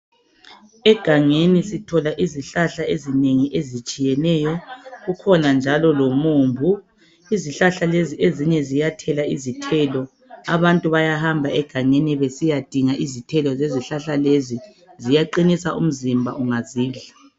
Egangeni sithola izihlahla ezinengi ezitshiyeneyo kukhona njalo lomumbu izihlahla lezi ezinye ziyathela izithelo abantu bayahamba egangeni besiyadinga izithelo zezihlahla lezi ziyaqinisabumzimba ungazidla